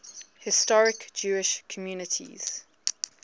historic jewish communities